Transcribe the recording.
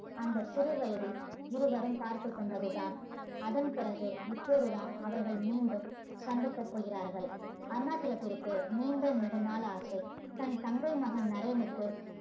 அந்த சிறு வயதில் இருவரும் பாத்து கொண்டதுதான் அதன்பிறகு இப்போதுதான் அவர்கள் மீண்டும் சந்திக்க போகிறார்கள் அருணாச்சலத்துக்கு நீண்ட நெடுநாள் ஆசை தன் தங்கை மகன் நரேன்னுக்கு